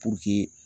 Puruke